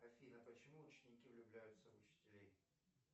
афина почему ученики влюбляются в учителей